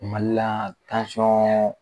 Mali la yan, tansiyɔn